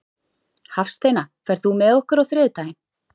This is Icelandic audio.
Hafsteina, ferð þú með okkur á þriðjudaginn?